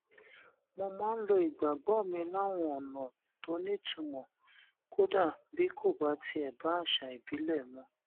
mo máa ń lo ìgbàgbó mi láwọn ònà tó nítumò kódà bí kò bá tiè bá àṣà ìbílè mu